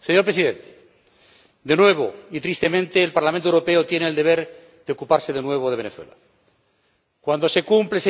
Señor Presidente, de nuevo, y tristemente, el Parlamento Europeo tiene el deber de ocuparse de Venezuela, cuando se cumple